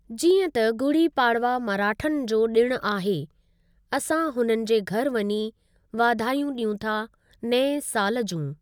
जीअं त गुड़ी पाड़वा मराठनि जो ॾिणु आहे असां हुननि जे घरि वञी वाधायूं ॾियूं था नए साल जूं।